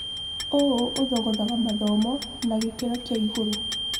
ũũ ũthogaga mathomo na gĩkĩro kĩaigũrũ.